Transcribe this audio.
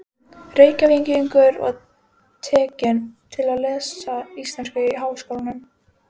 Reykjavíkur og tekin til við að lesa íslensku í Háskólanum.